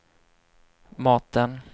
maten